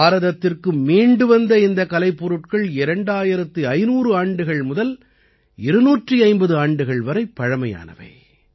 பாரதத்திற்கு மீண்டு வந்த இந்த கலைப்பொருட்கள் 2500 ஆண்டுகள் முதல் 250 ஆண்டுகள் வரை பழமையானவை